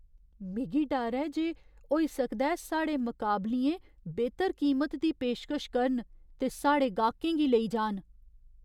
मिगी डर ऐ जे होई सकदा ऐ साढ़े मकाबलियें बेहतर कीमत दी पेशकश करन ते साढ़े गाह्कें गी लेई जान।